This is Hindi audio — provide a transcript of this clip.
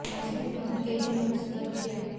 मौसम विभाग ने कई जिलों को सतर्क किया